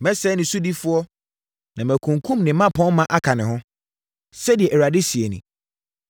Mɛsɛe ne sodifoɔ na makunkum ne mmapɔmma aka ne ho,” sɛdeɛ Awurade seɛ nie.